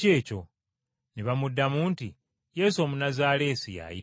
Ne bamuddamu nti, “Yesu Omunnazaaleesi ye ayitawo.”